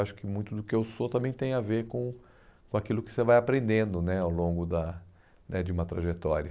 Acho que muito do que eu sou também tem a ver com com aquilo que você vai aprendendo né ao longo da né de uma trajetória.